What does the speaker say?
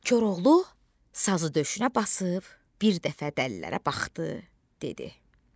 Koroğlu sazı döşünə basıb bir dəfə dəlilərə baxdı, dedi: